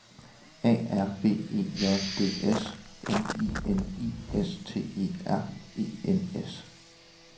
A R B E J D S M I N I S T E R E N S